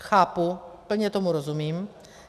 Chápu, plně tomu rozumím.